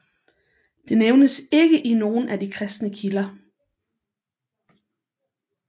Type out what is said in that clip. Det nævnes ikke i af nogen af de kristne kilder